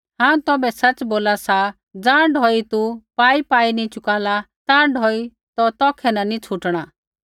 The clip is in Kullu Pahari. हांऊँ तौभै सच़ बोला सा ज़ाँ ढौई तू पाईपाई नी चुकाला ताँ ढौई तौ तौखै न नी छ़ुटणा